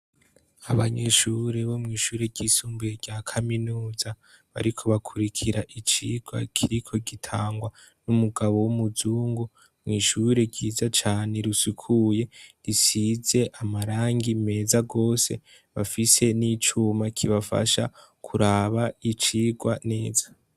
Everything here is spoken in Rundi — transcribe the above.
Abanyeshuri bo mw'ishuri ryisumbuye rya kaminuza bariko bakwirikira icirwa kiriko gitangwan'umugabo w'umuzungu mw'ishuri ryiza cane risukuye risize marangi meza gose bafise n'icuma kibafasha kuraba icirwa neza.